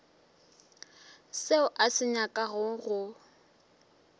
seo a se nyakago go